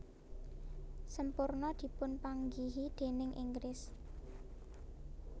Semporna dipunpanggihi déning Inggris